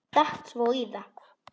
Datt svo í það.